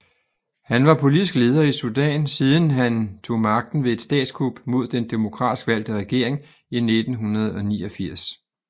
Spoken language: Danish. Han var politisk leder i Sudan siden han tog magten ved et statskup mod den demokratisk valgte regering i 1989